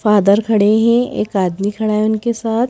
Father खड़े हैं एक आदमी खड़ा है उनके साथ।